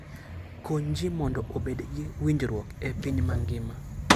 Kony ji mondo obed gi winjruok e piny mangima.